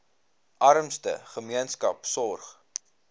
armste gemeenskappe sorg